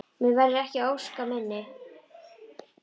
Mér verður ekki að ósk minni.